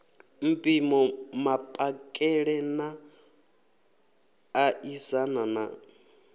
mpimo mapakele na ṋaṋisana na